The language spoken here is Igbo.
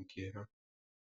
nke ha.